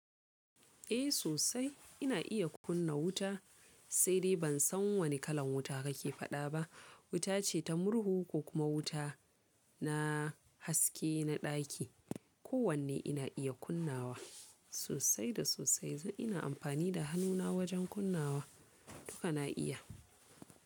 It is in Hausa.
Eh sosai ina iya kunna wuta, sai dai ban san wane kalan wuta ka ke faɗa ba. Wuta ce ta murhu ko kuma wuta na haske na ɗaki. Ko wanne ina iya kunnawa sosai da sosai. Zan ina amfani da hannuna wajen kunnawa. Duka na iya.